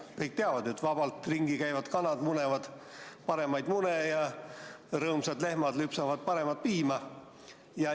Kõik ju teavad, et vabalt ringi käivad kanad munevad paremaid mune ja rõõmsad lehmad lüpsavad paremat piima.